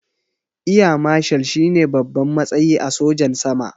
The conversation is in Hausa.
Eya mashal shine babban matsayi a sojan sama